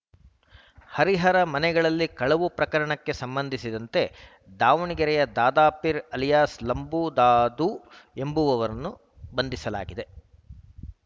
ಹರಿಹರ ಮನೆಗಳಲ್ಲಿ ಕಳವು ಪ್ರಕರಣಕ್ಕೆ ಸಂಬಂಧಿಸಿದಂತೆ ದಾವಣಗೆರೆಯ ದಾದಾಪೀರ್‌ ಅಲಿಯಾಸ್‌ ಲಂಬೂ ದಾದು ಎಂಬವನನ್ನು ಬಂಧಿಸಲಾಗಿದೆ